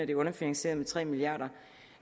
jo underfinansieret med tre milliard